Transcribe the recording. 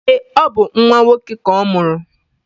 Eé, ọ bụ nnwa nwoke ka ọ mụrụ.